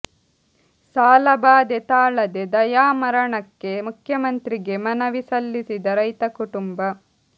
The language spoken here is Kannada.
ಸಾಲ ಬಾದೆ ತಾಳದೆ ದಯಾಮರಣಕ್ಕೆ ಮುಖ್ಯಮಂತ್ರಿಗೆ ಮನವಿ ಸಲ್ಲಿಸಿದ ರೈತ ಕುಟುಂಬ